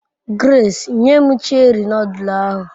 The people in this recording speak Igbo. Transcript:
Grace, nye m Cheri nodul ahu